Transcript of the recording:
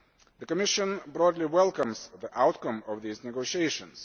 The Commission broadly welcomes the outcome of these negotiations.